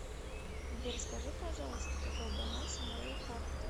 сбер скажи пожалуйста какой баланс у моей карты